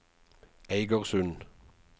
Eigersund